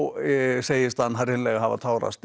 segist hann hreinlega hafa tárast